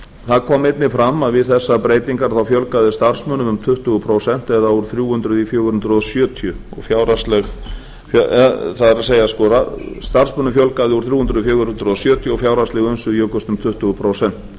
það kom einnig fram að við þessar breytingar fjölgaði starfsmönnum um tuttugu prósent eða úr þrjú hundruð í fjögur hundruð sjötíu það er starfsmönnum fjölgaði úr þrjú hundruð í fjögur hundruð sjötíu og fjárhagsleg umsvif jukust um tuttugu prósent